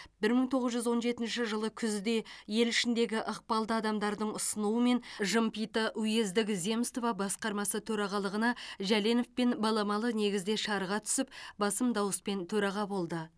бір мың тоғыз жүз он жетінші жылы күзде ел ішіндегі ықпалды адамдардың ұсынуымен жымпиты уездік земство басқармасы төрағалығына жәленовпен баламалы негізде шарға түсіп басым дауыспен төраға болды